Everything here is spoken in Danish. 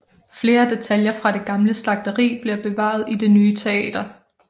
Flere detaljer fra det gamle slagteri bliver bevaret i det nye teater